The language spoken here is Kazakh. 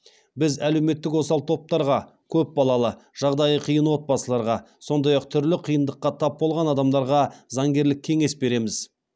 біз әлеуметтік осал топтарға көп балалы жағдайы қиын отбасыларға сондай ақ түрлі қиындыққа тап болған адамдарға заңгерлік кеңес береміз